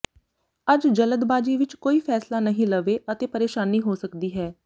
ਅੱਜ ਜਲਦਬਾਜੀ ਵਿੱਚ ਕੋਈ ਫ਼ੈਸਲਾ ਨਹੀਂ ਲਵੇਂ ਅਤੇ ਪਰੇਸ਼ਾਨੀ ਹੋ ਸਕਦੀ ਹੈ